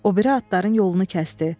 O biri atların yolunu kəsdi.